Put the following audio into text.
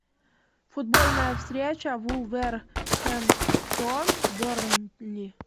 футбольная встреча вулверхэмптон бернли